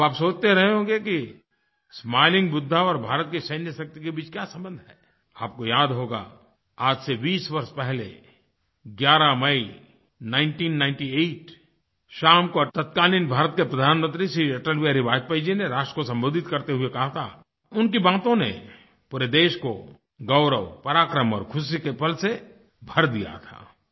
अब आप सोचते रहे होंगे कि स्माइलिंग बुद्धा और भारत की सैन्यशक्ति के बीच क्या संबंध है आपको याद होगा आज से 20 वर्ष पहले 11 मई 1998 शाम को तत्कालीन भारत के प्रधानमंत्री श्री अटल बिहारी वाजपेयी जी ने राष्ट्र को संबोधित करते हुए कहा था और उनकी बातों ने पूरे देश को गौरव पराक्रम और खुशी के पल से भर दिया था